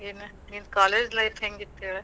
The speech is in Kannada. ಏನ್, ನಿನ್ನ college life ಹೆಂಗಿತ್ ಹೇಳ.